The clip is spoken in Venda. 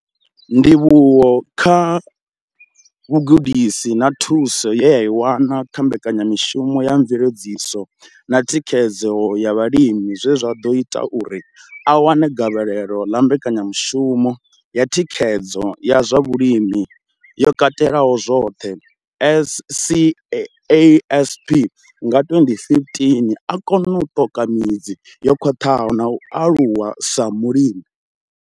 Ndivhuwo kha vhugudisi na thuso ye a i wana kha mbekanyamushumo ya mveledziso na thikhedzo ya vhalimi zwe zwa ḓo ita uri a wane gavhelo ḽa mbekanyamushumo ya thikhedzo ya zwa vhulimi yo katelaho zwoṱhe CASP nga 2015, o kona u ṱoka midzi yo khwaṱhaho na u aluwa sa mulimi.